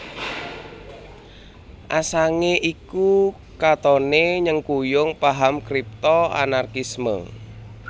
Assange iku katoné nyengkuyung paham Kripto Anarkisme